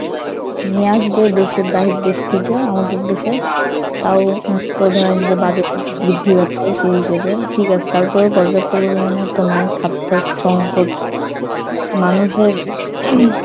নিয়ে আসবে দেশের বাহির দেশ থেকে আমাদের দেশে তাও তো ধরেন যে budget বৃদ্ধি পাচ্ছে সেই হিসাবে ঠিকাছে তারপরো পর্যাপ্ত পরিমানেতো নাই খাদ্য সংকট মানুষের ing